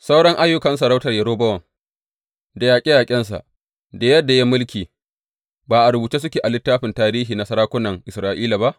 Sauran ayyukan sarautar Yerobowam, da yaƙe yaƙensa, da yadda ya yi mulki, ba a rubuce suke a littafin tarihi na sarakunan Isra’ila ba?